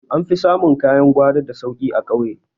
An fi samun kayan gwari da sauki a ƙauye